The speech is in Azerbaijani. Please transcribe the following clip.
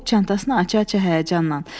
çantasını aça-aça həyəcanla.